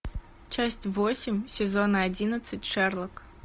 часть восемь сезона одиннадцать шерлок